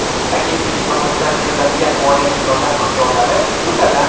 Agentlik tomonidan beriladigan moliyaviy yordam miqdorlari, jumladan:.